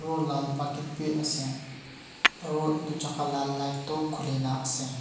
aru lal bucket bi ase aro itu jagah la light tu khulina ase.